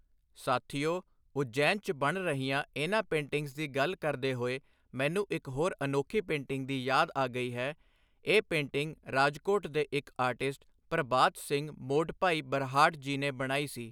ਸਾਥੀਓ, ਉਜੈਨ 'ਚ ਬਣ ਰਹੀਆਂ ਇਨ੍ਹਾਂ ਪੇਂਟਿੰਗਸ ਦੀ ਗੱਲ ਕਰਦੇ ਹੋਏ ਮੈਨੂੰ ਇੱਕ ਹੋਰ ਅਨੋਖੀ ਪੇਂਟਿੰਗ ਦੀ ਯਾਦ ਆ ਗਈ ਹੈ, ਇਹ ਪੇਂਟਿੰਗ ਰਾਜਕੋਟ ਦੇ ਇੱਕ ਆਰਟਿਸਟ ਪ੍ਰਭਾਤ ਸਿੰਘ ਮੋਡਭਾਈ ਬਰਹਾਟ ਜੀ ਨੇ ਬਣਾਈ ਸੀ।